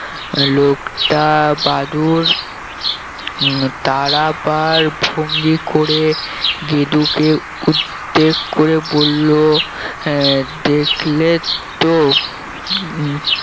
লোকটা বাদুড় উম দাঁড়াবার ভঙ্গি করে গেদু কে উদ্দেশ্য করে বললো আহ দেখলেন তো উম